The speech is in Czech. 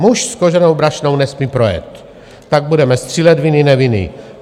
Muž s koženou brašnou nesmí projet, tak budeme střílet - vinen, nevinen.